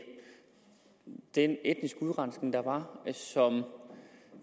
den etniske udrensning der var